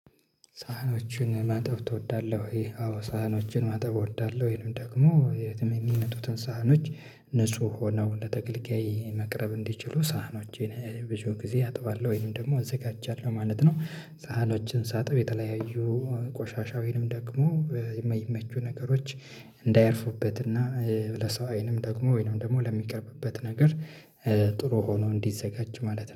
ሳህኖችን ማጠብ ትወዳለህ ወይ? አዎ ሳህኖችን ማጠብ እወዳለሁ። ይህንም ደግሞ የትም እሚመጡትን ሳህኖች ንጹህ ሆነው ለተገልጋይ መቅረብ እንዲችሉ ሳህኖችን ብዙ ጊዜ አጥባለሁ ወይም ደግሞ አዘጋጃለሁ ማለት ነው። ሳህኖችን ሳጥብ የተለያዩ ቆሻሻ ወይንም ደግሞ የማይመቹ ነገሮች እንዳያርፉበት እና ኧ ለሰው አይንም ደግሞ ወይንም ደግሞ ለሚቀርብበት ነገር ጥሩ ሆኖ እንዲዘጋጅ ማለት ነው